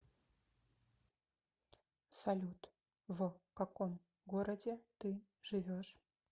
салют в каком городе ты живешь